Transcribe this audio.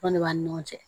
Fana de b'a ni ɲɔgɔn cɛ